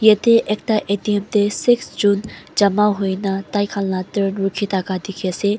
yate ekta A T M te six jun jama hoi kena takhan la turn rukhi ase.